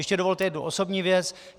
Ještě dovolte jednu osobní věc.